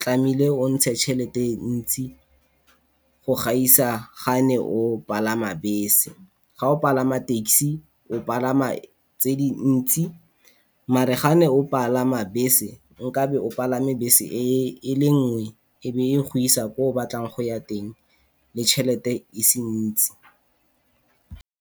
tlamehile o ntshe tšhelete ntsi go gaisa gane o palama bese. Ga o pagama taxi o pagama tse dintsi mare gane o pagama bese, nkabe o pagame bese e le nngwe e be e go isa ko o batlang go ya teng le chelete e se ntsi.